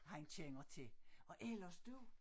Han kender til og ellers du